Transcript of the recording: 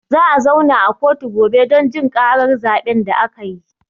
Za a zauna a kotu gobe don jin ƙarar zaɓe da akayi